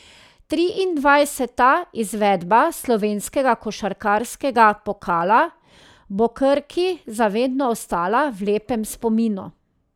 Triindvajseta izvedba slovenskega košarkarskega pokala bo Krki za vedno ostala v lepem spominu.